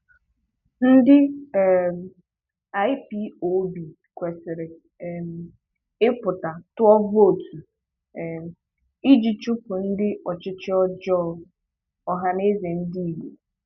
Ndị um IPOB kwesịrị um ịpụta tụọ vootu um iji chụpụ ndị ọchịchị ọjọọ - Ohaneze Ndigbo